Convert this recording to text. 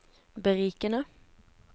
berikende